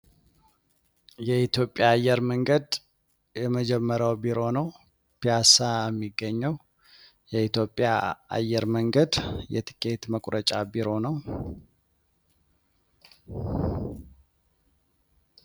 የኢትዮጵያ አየር መንገድ የመጀመርያው ቢሮ ነው። ፒያሳ የሚገኘው የኢትዮጽያ አየር መንገድ የትኬት መቁረጫ ቢሮ ነው።